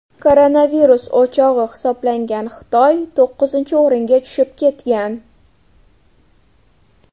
Koronavirus o‘chog‘i hisoblangan Xitoy to‘qqizinchi o‘ringa tushib ketgan.